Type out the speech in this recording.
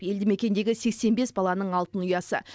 елді мекендегі сексен бес баланың алтын ұясы